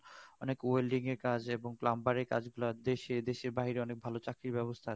অনেক welding এর কাজ এবং plumber এর কাজ দেশে দেশের বাইরে অনেক ভাল চাকরির ব্যবস্থা আছে